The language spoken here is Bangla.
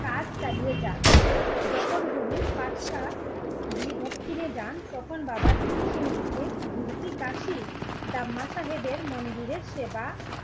কাজ চালিয়ে যান। যখন গুরু পাটশাহ দক্ষিণে যান বাবা দীপসিং কে মন্দিরের সেবা